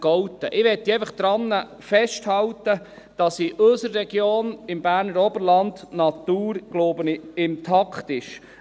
Ich möchte daran festhalten, dass in unserer Region, im Berner Oberland, die Natur, so denke ich, intakt ist.